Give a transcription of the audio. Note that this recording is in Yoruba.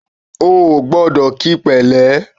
O kò gbọ́dọ̀ kíi pẹ̀lẹ́!